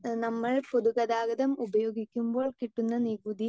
speaker 2 നമ്മൾ പൊതുഗതാഗതം ഉപയോഗിക്കുമ്പോൾ കിട്ടുന്ന നികുതി